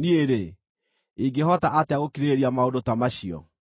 Niĩ-rĩ, ingĩhota atĩa gũkirĩrĩria maũndũ ta macio?